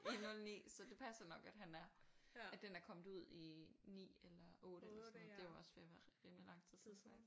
I 09 så det passer nok godt han er at den er kommet ud i 9 eller 8 eller sådan noget det er jo også ved at være rimelig lang tid siden